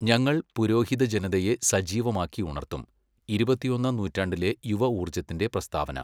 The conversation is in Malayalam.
ഞങ്ങൾ പുരോഹിത ജനതയെ സജീവമാക്കി ഉണർത്തും', ഇരുപത്തൊന്നാം നൂറ്റാണ്ടിലെ യുവഊർജ്ജത്തിന്റെ പ്രസ്താവന.